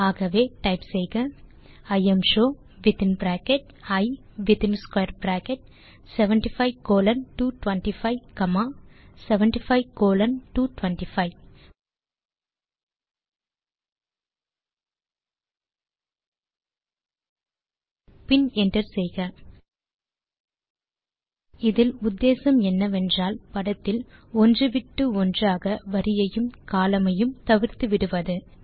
ஆகவே டைப் செய்க imshow within bracket I within square bracket 75 colon 225 comma 75 colon 225 பின் enter செய்க இதில் உத்தேசம் என்னவென்றால் படத்தில் ஒன்று விட்டு ஒன்றாக வரியையும் கோலம்ன் ஐயும் தவிர்த்துவிடுவது